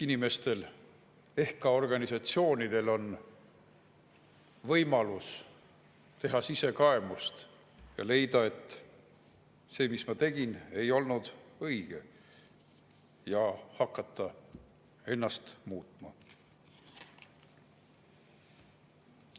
Inimestel ja ehk ka organisatsioonidel on võimalus teha sisekaemust ja leida: "See, mis ma tegin, ei olnud õige", ja hakata ennast muutma.